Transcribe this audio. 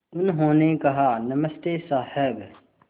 उन्होंने कहा नमस्ते साहब